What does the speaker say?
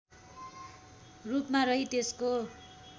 रूपमा रही त्यसको